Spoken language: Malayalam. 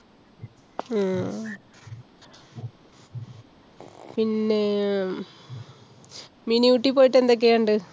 ഉം പിന്നെ~ mini ഊട്ടി പോയിട്ട് എന്തൊക്യാ കണ്ടേ?